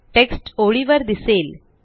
text ओळीवर दिसेल